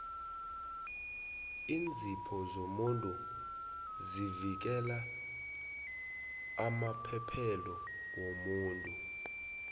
iinzipho zomuntu zivikela amaphethelo womuno